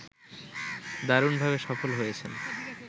দারুণভাবে সফল হয়েছেন